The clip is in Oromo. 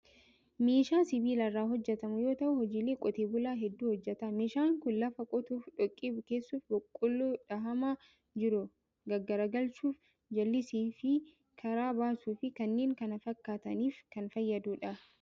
Meeshaa sibiila irraa hojjetamu yoo ta'u, hojiilee qotee bulaa hedduu hojjeta. Meeshaan kun lafa qotuuf, dhoqqee bukeessuuf, boqqolloo dhahamaa jiru gaggaragalchuuf, jallisiif karaa baasuu fi kanneen kana fakkaataniif kan fayyadudha.